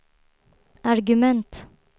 argument